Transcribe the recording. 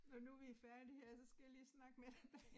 Når nu vi færdige her så skal jeg lige snakke med dig